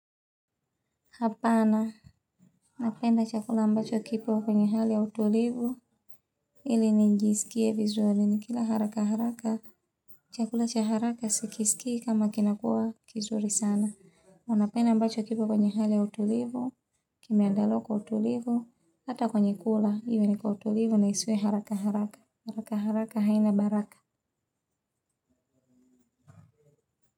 Hapana napenda chakula ambacho kipo kwenye hali ya utulivu ili nijisikie vizuri nikila haraka haraka chakula cha haraka sikiskii kama kinakuwa kizuri sana wanapenda ambacho kipo kwenye hali ya utulivu. Kimeandaliwa kwa kutulivu hata kwenye kula iwe ni utulivu na isiwe haraka haraka haraka haraka haina baraka.